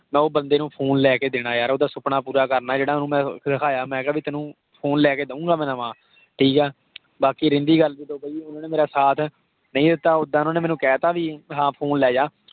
ਉਹ ਬੰਦੇ ਨੂੰ phone ਲੈ ਕੇ ਦੇਣਾ ਯਾਰ। ਉਹਦਾ ਸੁਪਨਾ ਪੂਰਾ ਕਰਨਾ, ਜਿਹੜਾ ਮੈਂ ਓਹਨੂੰ ਦਿਖਾਇਆ। ਮੈਂ ਕਿਹਾ ਵੀ ਮੈਂ ਤੈਨੂੰ phone ਲੈ ਕੇ ਦਊਂਗਾ ਮੈਂ ਨਵਾਂ। ਠੀਕ ਹੈ। ਬਾਕੀ ਰਹਿੰਦੀ ਗੱਲ ਉਹਨਾਂ ਨੇ ਮੇਰਾ ਸਾਥ ਨਹੀਂ ਦਿੱਤਾ ਉੱਦਾਂ ਉਹਨਾਂ ਨੇ ਮੈਨੂੰ ਕਹਿਤਾ ਵੀ ਹਾਂ ਫੋਨ ਲੈ ਜਾ।